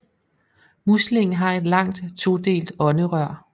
Muslingen har et langt todelt ånderør